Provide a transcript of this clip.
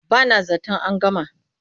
Ba na zaton an gama.